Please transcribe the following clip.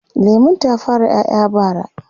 lemun ta fara ƴaƴa bara